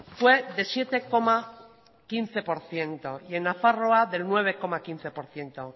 fue de siete coma quince por ciento y en nafarroa de nueve coma quince por ciento